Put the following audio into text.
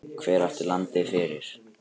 Hver átti landið fyrir?